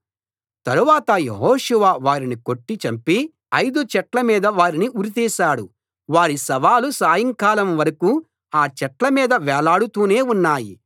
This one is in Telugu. తరువాత యెహోషువ వారిని కొట్టి చంపి ఐదు చెట్ల మీద వారిని ఉరితీశాడు వారి శవాలు సాయంకాలం వరకూ ఆ చెట్ల మీద వేలాడుతూనే ఉన్నాయి